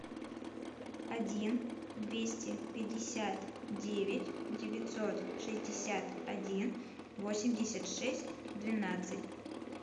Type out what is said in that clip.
один двести пятьдесят девять девятьсот шестьдесят один восемьдесят шесть двенадцать